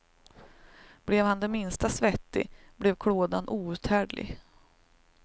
Blev han det minsta svettig blev klådan outhärdlig.